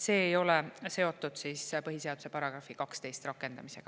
See ei ole seotud põhiseaduse § 12 rakendamisega.